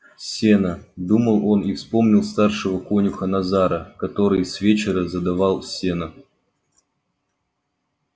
сено думал он и вспомнил старшего конюха назара который с вечера задавал сено